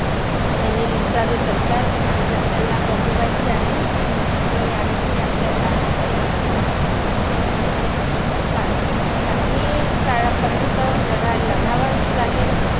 ने हे लुटारू सरकार आज आपल्याला बदलवायचं आहे. आणि या विषयी आपल्याला अंदोलन करूण का काही काळापर्यंत लढा लढावच लागेल.